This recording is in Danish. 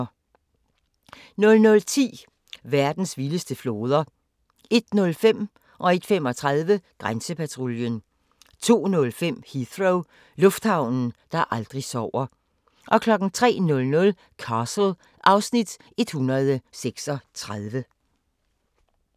00:10: Verdens vildeste floder 01:05: Grænsepatruljen 01:35: Grænsepatruljen 02:05: Heathrow – lufthavnen, der aldrig sover 03:00: Castle (Afs. 136)